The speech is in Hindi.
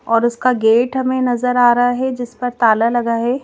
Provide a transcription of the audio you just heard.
और उसका गेट हमें नजर आ रहा है जिस पर ताला लगा है।